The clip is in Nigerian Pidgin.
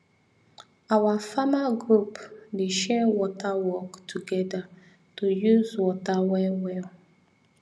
our farmer group dey share water work together to use water well well